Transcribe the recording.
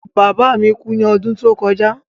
Bàbá mi kú ní odún tó kojá